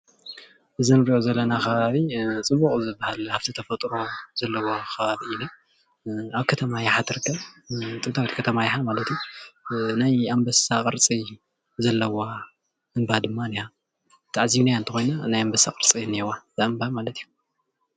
እዚ ንርእዮ ዘለና ከባቢ ፅቡቅ ዝበሃል ሃፍቲ ተፈጥሮ ዘለዎ ከባቢ እዩ። ኣብ ከተማ የሓ ትርከብ ጥንታዊ ከተማ የሓ ማለት እዩ ናይ ኣንበሳ ቅርፂ ዘለዋ እንባ ድማ እኒሃ ተዓዚብናያ ተኾይና ናይ ኣንበሳ ቅርፂ እኒአዋ ዛእምባ ማለት እዩ።